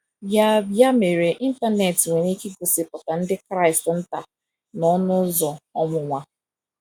Ya Ya mere, Ịntanet nwere ike igosipụta ndị Kraịst nta n’ọnụ ụzọ ọnwụnwa.